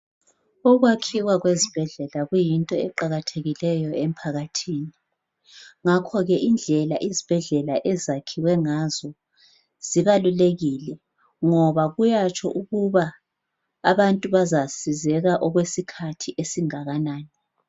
Ukwakhiwa kwezibhedlela kuyinto eqakathekileyo emphakathini. Ngakho ke indlela izibhedlela ezakhiwe ngazo zibalulekile .Ngoba kuyatsho ukuba abantu bazasizeka okwesikhathi esingakanani .